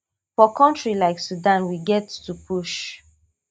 for kontri like sudan we get to push